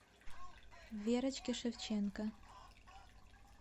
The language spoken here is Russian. верочке шевченко